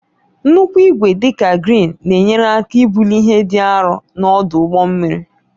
Nnukwu igwe, dị ka kreen, na-enyere aka ibuli ihe dị arọ n'ọdụ ụgbọ mmiri.